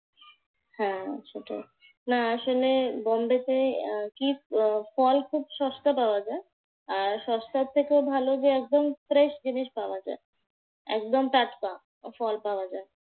হ্যাঁ সেটাই, না আসলে বম্বেতে আহ কি আহ ফল খুব সস্তায় পাওয়া যায়। আর সস্তার থেকে ভালো যে একদম fresh জিনিস পাওয়া যায়। একদম টাটকা ফল পাওয়া যায়।